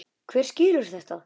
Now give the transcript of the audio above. Hver skilur þetta?